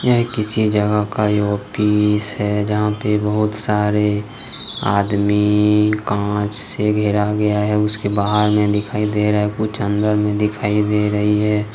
किसी जगह का ऑफिस है जहां पे बहुत सारे आदमी कांच से घेरा गया है उसके बाहर में दिखाई दे रहा कुछ अंदर में दिखाइए दे रही है।